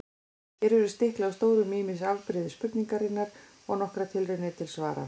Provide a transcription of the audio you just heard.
Hér verður stiklað á stóru um ýmis afbrigði spurningarinnar og nokkrar tilraunir til svara.